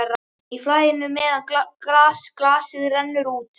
Í flæðinu meðan glasið rennur út